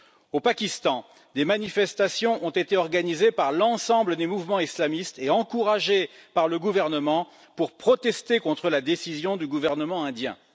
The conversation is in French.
Au Pakistan, des manifestations ont été organisées par l'ensemble des mouvements islamistes et encouragées par le gouvernement, pour protester contre la décision du gouvernement indien.